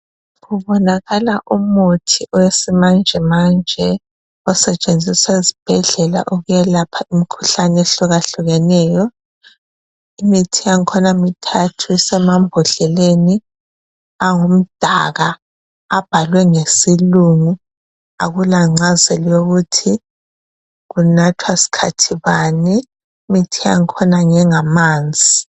Kubonakala umuthi wesi manjemanje Osetshenziswa ezibhedlela ukwelapha imkhuhlane ehlukahlukeneyo imithi yangkhona mithathu isemambodleleni angumdaka abhaliwe ngesilungu akulangcazelo yokuthi kunathwa sikhathi bani imithi yangkhona ngengamanzi